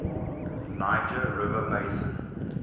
niger river basin